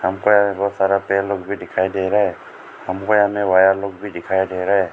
हमको यहां पे बहुत सारा बहन लोग भी दिखाई दे रहा है हमको यहां पे भैया लोग भी दिखाई दे रहा है।